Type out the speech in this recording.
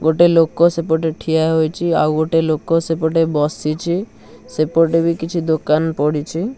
ଗୋଟେ ଲୋଳ ସେପଟେ ଠିଆ ହୋଇଛି ଆଉ ଗୋଟେ ଲୋକ ସେପଟେ ବସିଛି ସେପଟେ ବି କିଛି ଦୋକାନ ପଡ଼ିଛି.